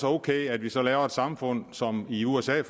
ok at vi så laver et samfund som i usa